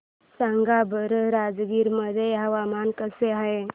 सांगा बरं राजगीर मध्ये हवामान कसे आहे